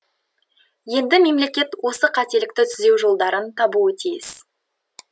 енді мемлекет осы қателікті түзеу жолдарын табуы тиіс